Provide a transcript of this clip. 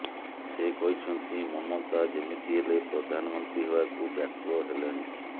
ସେ କହିଛନ୍ତି ମମତା ଯେମିତି ହେଲେ ପ୍ରଧାନମନ୍ତ୍ରୀ ହେବାକୁ ବ୍ୟାକୁଳ ହେଲେଣି